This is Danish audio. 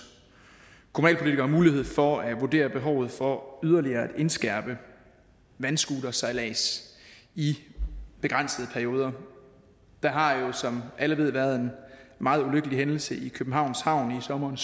kommunalpolitikere mulighed for at vurdere behovet for yderligere at indskærpe vandscootersejlads i begrænsede perioder der har jo som alle ved været en meget ulykkelig hændelse i københavns havn i sommeren